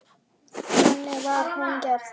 Þannig var hún gerð.